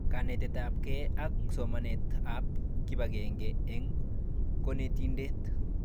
Kanetetabgee ak somanetab kibangenge eng konetindet